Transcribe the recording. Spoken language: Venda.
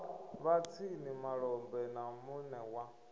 vhatshini malombe na mune wa